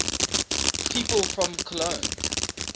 people from cologne